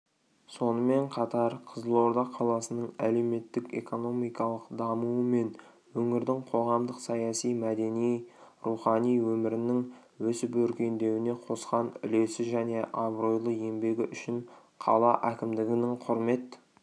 сонымен қатар қызылорда қаласының әлеуметтік-экономикалық дамуы мен өңірдің қоғамдық-саяси мәдени-рухани өмірінің өсіп-өркендеуіне қосқан үлесі және абыройлы еңбегі үшін қала әкімдігінің құрмет